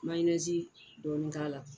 dɔɔnin k'a la